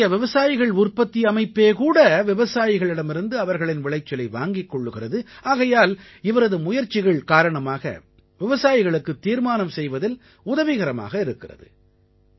இவருடைய விவசாயிகள் உற்பத்தி அமைப்பே கூட விவசாயிகளிடமிருந்து அவர்களின் விளைச்சலை வாங்கிக் கொள்கிறது ஆகையால் இவரது முயற்சிகள் காரணமாக விவசாயிகளுக்குத் தீர்மானம் செய்வதில் உதவிகரமாக இருக்கிறது